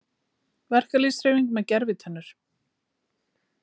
Verkalýðshreyfing með gervitennur